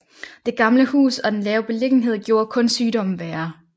Det gamle hus og den lave beliggenhed gjorde kun sygdommen værre